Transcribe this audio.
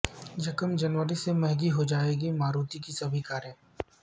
یکم جنوری سے مہنگی ہو جائے گی ماروتی کی سبھی کاریں